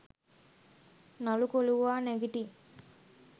නළු කොලුවා නැගිටියි